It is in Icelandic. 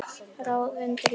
Ráð undir rifjum.